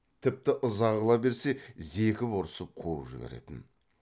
тіпті ыза қыла берсе зекіп ұрсып қуып жіберетін